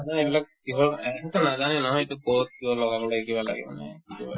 মানে এইবিলাক কিহৰ সিহঁতেও নাজানে নহয় এইটো ক'ত কিয় লগাব লাগে কিবা লাগে মানে এইটো